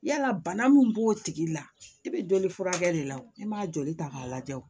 Yala bana min b'o tigi la e bɛ joli furakɛ de la wo e m'a joli ta k'a lajɛ o